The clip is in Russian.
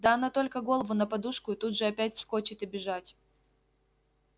да она только голову на подушку и тут же опять вскочит и бежать